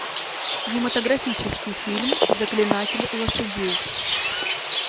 кинематографический фильм заклинатель лошадей